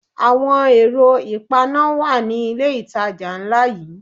Àwọn ẹ̀rọ ìpaná wà ní ilé ìtajà ńlá yí.